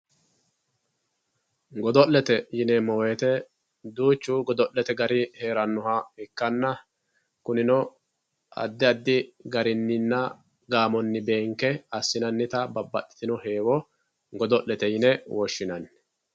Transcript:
goddo'lete yineemo woyiite duuchu godo'lete gari heerannoha ikkanna kunino addi addi gariininna gaamonni beenke assinannita babbadhitino heewo godo'lete yine woshshinanni.